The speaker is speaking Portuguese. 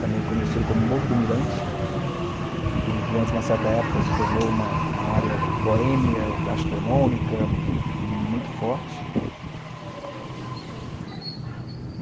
também conhecido como Morro do Mirante, que durante uma certa época se tornou uma uma área boêmia, gastronômica, muito forte.